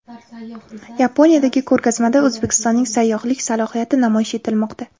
Yaponiyadagi ko‘rgazmada O‘zbekistonning sayyohlik salohiyati namoyish etilmoqda.